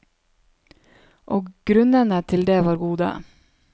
Og grunnene til det var gode.